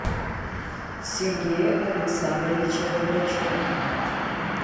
сергея александровича горбачева